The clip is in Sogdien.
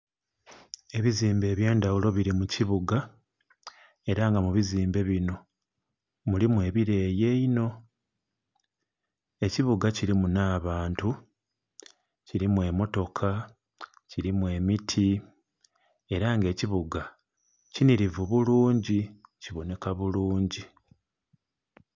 Ebizimbe eby'endaghulo bili mu kibuga, ela nga mu bizimbe binho mulimu ebileeyi einho. Ekibuga kilimu nh'abantu, kilimu emmotoka, kilimu emiti. Ela nga ekibuga kinhilivu bulungi, kibonheka bulungi.